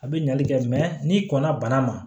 A bɛ ɲali kɛ n'i kɔnna bana ma